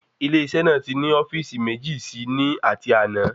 Ilé isé náà ti ni ofíìsì méjì sí ní ati àná